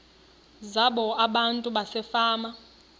zabo abantu basefama